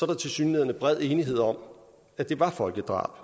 der tilsyneladende er bred enighed om at det var folkedrab